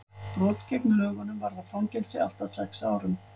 brot gegn lögunum varða fangelsi allt að sex árum